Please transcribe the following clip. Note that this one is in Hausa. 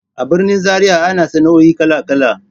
A birnin Zariya ana sana'o'i kala-kala.